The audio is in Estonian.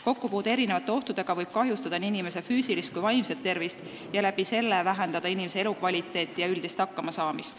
Kokkupuude erinevate ohtudega võib kahjustada nii inimese füüsilist kui vaimset tervist ja sel moel mõjuda halvasti elukvaliteedile ja võimele hakkama saada.